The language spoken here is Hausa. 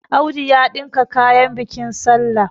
Audu ya ɗinka kayan bikin sallah